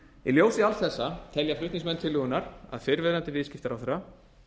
í ljósi alls þessa telja flutningsmenn tillögunnar að fyrrverandi viðskiptaráðherra